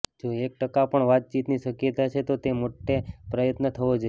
જો એક ટકા પણ વાતચાતની શક્યતા છે તો તે માટે પ્રયત્ન થવો જોઈએ